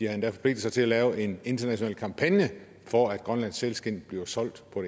har endda forpligtet sig til at lave en international kampagne for at grønlandsk sælskind bliver solgt på